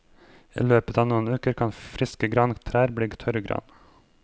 I løpet av noen uker kan friske grantrær bli til tørrgran.